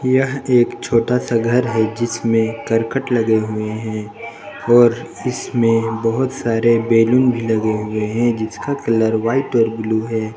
यह एक छोटा सा घर है जिसमें करकट लगे हुए हैं और इसमें बहुत सारे बैलून भी लगे हुए हैं जिसका कलर व्हाइट और ब्लू हैं।